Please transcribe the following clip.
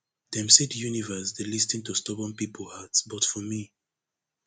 dem say di universe dey lis ten to stubborn pipo heart but for me